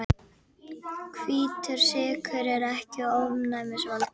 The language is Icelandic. Hvítur sykur er ekki ofnæmisvaldur.